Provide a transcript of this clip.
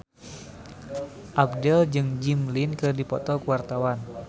Abdel jeung Jimmy Lin keur dipoto ku wartawan